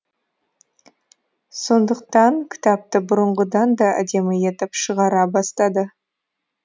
сондықтан кітапты бұрынғыдан да әдемі етіп шығара бастады